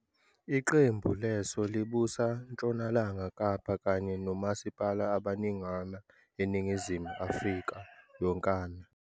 Iqembu lelo libusa Ntshonalanga Kapa kanye nomasipala abaningana e-Ningizimu Afrika yonkana.